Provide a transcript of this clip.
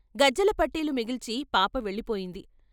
గజ్జెల పట్టీలు మిగిల్చి పాప వెళ్ళిపోయింది.